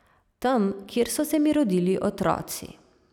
Tam, kjer so se mi rodili otroci.